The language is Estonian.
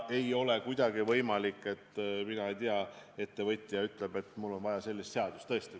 Ei ole kuidagi võimalik, ma ei tea, et ettevõtja ütleks, et tal on vaja sellist või sellist seadust.